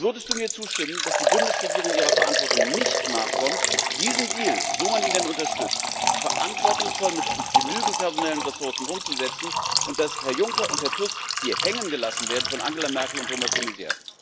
Würdest du mir zustimmen, dass die Bundesregierung ihrer Verantwortung nicht nachkommt, diesen Deal, so man ihn denn unterstützt, verantwortungsvoll mit genügend personellen Ressourcen umzusetzen, und dass Herr Juncker und Herr Tusk hier hängen gelassen werden von Angela Merkel und Thomas de Maizière?